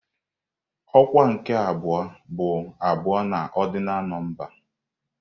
Ọkwa nke abụọ bụ abụọ na ọrdịnal nọmba.